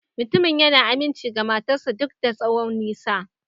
Mutumin yana aminci ga matar sa duk da tsawon nisan.